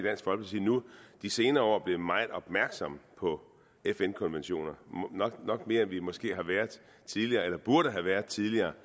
de senere år er blevet meget opmærksom på fn konventioner nok mere end vi måske har været tidligere eller burde have været tidligere